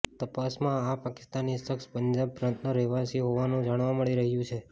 તપાસમાં આ પાકિસ્તાની શખ્સ પંજાબ પ્રાંતનો રહેવાસીઓ હોવાનું જાણવા મળી રહ્યું છે